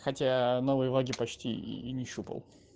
хотя новые логи почти и не щупал